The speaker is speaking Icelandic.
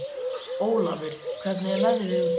Ólafur, hvernig er veðrið úti?